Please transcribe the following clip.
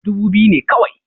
Dubu biyu ne kawai